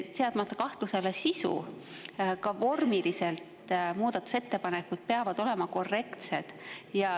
Seadmata kahtluse alla sisu, peavad muudatusettepanekud ka vormiliselt olema korrektsed.